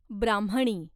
ब्राह्मणी